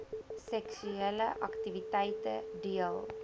seksuele aktiwiteite deel